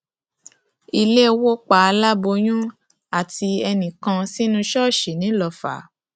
ilẹ wó pa aláboyún àti ẹnì kan sínú ṣọọṣì ńilọfà